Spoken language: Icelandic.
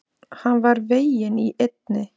Hann var veginn í eynni.